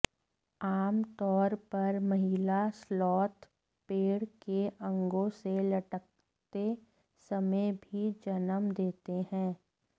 आम तौर पर महिला स्लॉथ पेड़ के अंगों से लटकते समय भी जन्म देते हैं